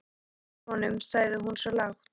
Þú slepptir honum, sagði hún svo lágt.